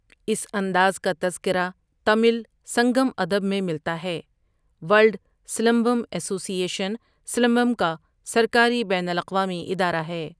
اس انداز کا تذکرہ تمل سنگم ادب میں ملتا ہے World Silambam Association Silambam کا سرکاری بین الاقوامی ادارہ ہے۔